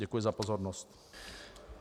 Děkuji za pozornost.